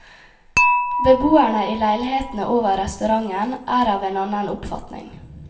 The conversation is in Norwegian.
Beboerne i leilighetene over restauranten er av en annen oppfatning.